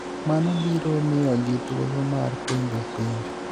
mano biro miyogi thuolo mar penjo penjo